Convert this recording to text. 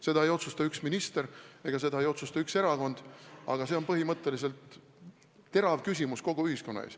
Seda ei otsusta üks minister, seda ei otsusta üks erakond, see on põhimõtteliselt terav küsimus kogu ühiskonna ees.